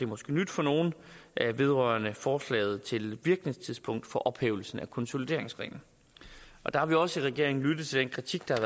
måske nyt for nogle vedrørende forslaget til virkningstidspunkt for ophævelsen af konsolideringsreglen der har vi også i regeringen lyttet til den kritik der